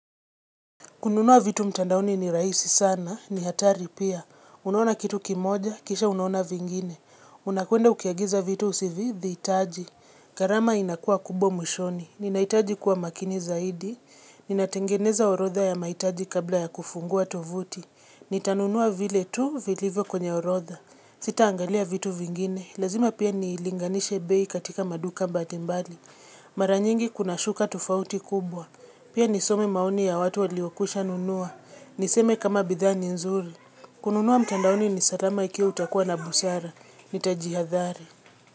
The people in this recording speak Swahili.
Kununua vitu mtandaoni ni rahisi sana, ni hatari pia. Unaona kitu kimoja, kisha unaona vingine. Unakwenda ukiagiza vitu usivyovihitaji. Gharama inakuwa kubwa mwishoni. Ninahitaji kuwa makini zaidi. Ninatengeneza orodha ya mahitaji kabla ya kufungua tovuti. Nitanunua vile tu, vilivyo kwenye orodha. Sita angalia vitu vingine. Lazima pia niilinganishe bei katika maduka mbalimbali. Mara nyingi kuna shuka tofauti kubwa. Pia nisome maoni ya watu waliokwisha nunua. Niseme kama bidhaa ni nzuri. Kununua mtandaoni ni salama ikiwa utakuwa na busara. Nitajihadhari.